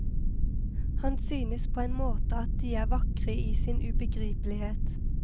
Han synes på en måte at de er vakre i sin ubegripelighet.